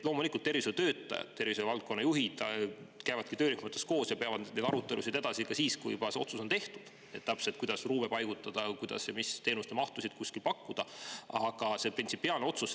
Loomulikult, tervishoiutöötajad, valdkonna juhid käivadki töörühmades koos ja ka siis, kui otsus on juba tehtud, peavad nad edasi arutelusid, kuidas täpselt ruume paigutada, mis mahus teenuseid kuskil pakkuda ja nii edasi.